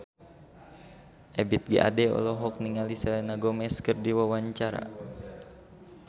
Ebith G. Ade olohok ningali Selena Gomez keur diwawancara